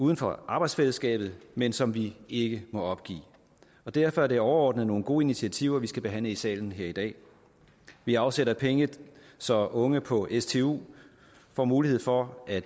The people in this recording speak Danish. uden for arbejdsfællesskabet men som vi ikke må opgive derfor er det overordnet nogle gode initiativer vi skal behandle i salen her i dag vi afsætter penge så unge på stu får mulighed for at